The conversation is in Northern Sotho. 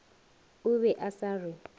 o be a sa re